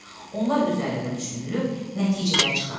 Onlar üzərində düşünülüb, nəticələr çıxarılır.